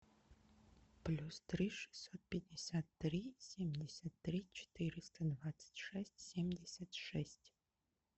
плюс три шестьсот пятьдесят три семьдесят три четыреста двадцать шесть семьдесят шесть